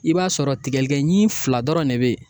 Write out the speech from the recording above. I b'a sɔrɔ tigɛlikɛɲin fila dɔrɔn ne bɛ ye